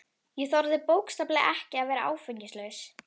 Ég þorði bókstaflega ekki að vera áfengislaus.